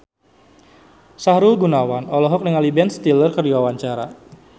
Sahrul Gunawan olohok ningali Ben Stiller keur diwawancara